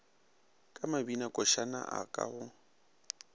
ka mabinakošana a ka go